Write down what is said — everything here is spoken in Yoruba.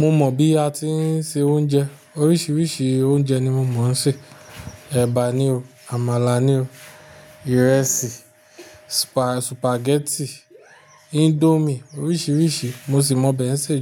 Mo mọ bi a ti ń se oúnje. Oríṣiiríṣii oúnje ni mo mọ ṣe. Eba ni o, àmàlà ni o, ìrẹsì, supa-sùpàgẹ́tì, índómì oríṣiiríṣii. Mo sì mọ obẹ̀ ṣe